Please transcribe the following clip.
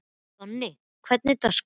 Donni, hvernig er dagskráin?